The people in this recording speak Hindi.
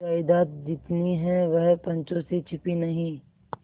जायदाद जितनी है वह पंचों से छिपी नहीं